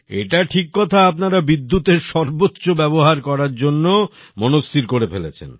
এটা ঠিক কথা আপনারা বিদ্যুতের সর্বোচ্চ ব্যবহার করার জন্যে মনস্থির করে ফেলেছেন